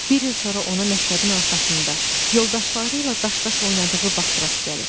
Bir il sonra ona məktəbin arxasında, yoldaşları ilə daş-daş oynadığı vaxt rast gəlir.